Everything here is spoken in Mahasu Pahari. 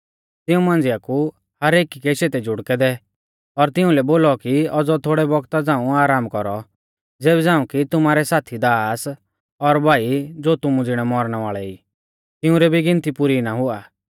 तिऊं मांझ़िआ कु हर एकी कै शेते जुड़कै दै और तिंउलै बोलौ कि औज़ौ थोड़ै बौगता झ़ांऊ आराम कौरौ ज़ेबी झ़ांऊ कि तुमारै साथी दास और भाई ज़ो तुमु ज़िणै मौरणै वाल़ै ई तिंउरी भी गिनती पुरी ना हुआ